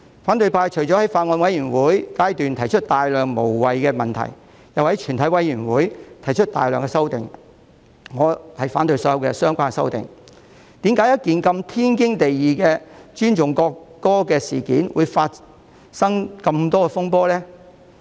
反對派除了在法案委員會階段提出大量無謂的問題，又在全體委員會審議階段提出大量修正案——我反對所有相關的修正案——為何尊重國歌如此天經地義的事情，會發生這麼多風波呢？